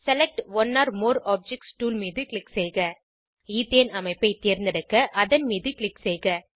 select one or more objects tool மீது click செய்க ethane அமைப்பைத் தேர்ந்தெடுக்க அதன் மீது க்ளிக் செய்க